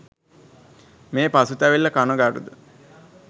මේ පසුතැවිල්ල කනගාටුව